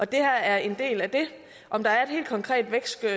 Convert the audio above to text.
det her er en del af det om der er et helt konkret vækst